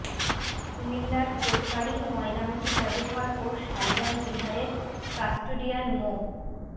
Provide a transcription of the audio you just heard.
কুমিল্লার কোটবাড়ি ময়নামতি জাদুঘর ও শালবন বিহারের কাস্টোডিয়ান মো